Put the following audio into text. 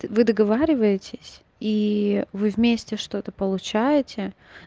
вы договариваетесь и вы вместе что-то получаете